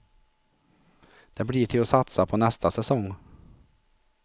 Det blir till att satsa på nästa säsong.